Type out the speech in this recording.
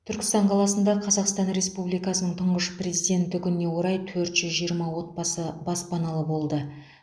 түркістан қаласында қазақстан республикасының тұңғыш президенті күніне орай төрт жүз жиырма отбасы баспаналы болды